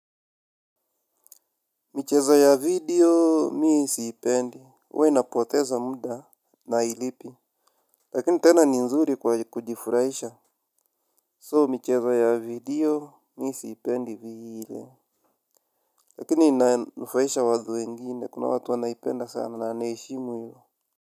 Michezo ya video, mimi sipendi. Uwa napoteza muda na hailipi. Lakini tena ni nzuri kujifurahisha. So, michezo ya video, mimi sipendi vile. Lakini ina nufaisha watu wengine, kuna watu wanaipenda sana na naheshimu ilo.